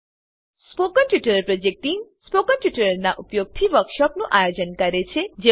spoken tutorial project team spoken ટ્યુટોરીયલોનાં ઉપયોગથી વર્કશોપોનું આયોજન કરે છે